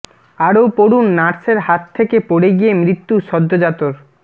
আরও পড়ুন নার্সের হাত থেকে পড়ে গিয়ে মৃত্যু সদ্যোজাতর